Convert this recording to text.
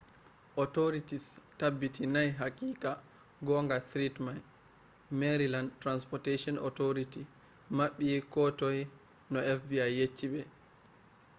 authorities tabbitinai haqiqa gonga threat mai maryland transportation authority maɓɓi ko toi no fbi yecci ɓe